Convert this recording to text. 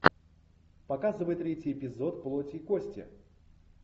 показывай третий эпизод плоть и кости